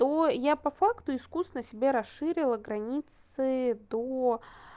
то я по факту искусно себе расширила границы до